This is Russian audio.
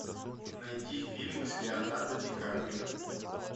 найди фильмы с леонардо ди каприо